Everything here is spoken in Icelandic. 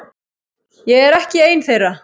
Ég er ekki ein þeirra.